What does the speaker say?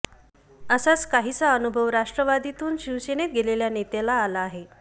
असाच काहीसा अनुभव राष्ट्रवादीतून शिवसेनेत गेलेल्या नेत्याला आला आहे